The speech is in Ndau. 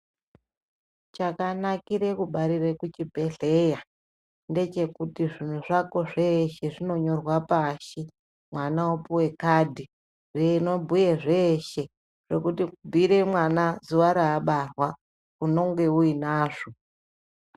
Chakanakire kubarire kuchibhedhleya ndechekuti zvintu zvako zveshe zvinonyorwa pashi, mwana wopuwe kadhi rinobhuye zveshe. Rekubhuyire mwana zuwa raabarwa unenge unazvo.